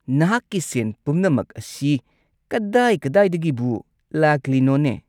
ꯅꯍꯥꯛꯀꯤ ꯁꯦꯟ ꯄꯨꯝꯅꯃꯛ ꯑꯁꯤ ꯀꯗꯥꯏ-ꯀꯗꯥꯏꯗꯒꯤꯕꯨ ꯂꯥꯛꯂꯤꯅꯣꯅꯦ ?